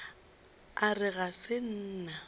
a re ga se nna